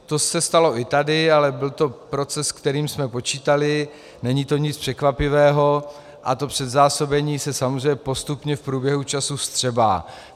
To se stalo i tady, ale byl to proces, se kterým jsme počítali, není to nic překvapivého a to předzásobení se samozřejmě postupně v průběhu času vstřebá.